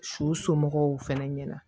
Su somɔgɔw fɛnɛ ɲɛna